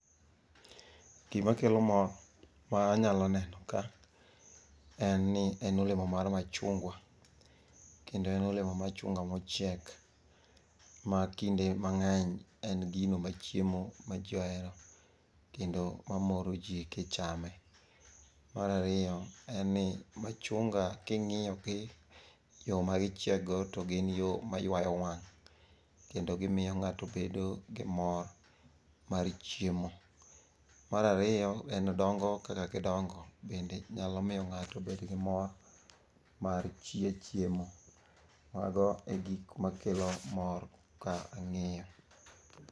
Gima kelo mor, ma anyalo neno ka en ni en olemo mar machungwa. Kendo en olemo machunga mochiek ma kinde mang'eny en gino machiemo ma ji ohero kendo mamoro ji kichame. Marariyo en ni machunga king'iyo gi yo magichiek go to gin yo ma ywayo wang', kendo gimiyo ng'ato bedo gi mor mar chiemo. Marariyo en dongo kaka gidongo bende nyalo miyo ng'ato bedo gi mor mar chiemo. Mago e gik makelo mor ka ang'iyo.